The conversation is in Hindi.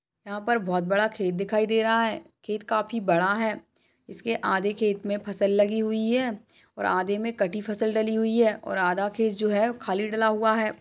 यहाँ पर बहुत बड़ा खेत दिखाई दे रहा है। खेत काफी बड़ा है। इसके आधे खेत मे फसल लगी हुई है और आधे मे कटी फसल डली हुई हैऔर आधा खेत जो है खाली डला हुआ है।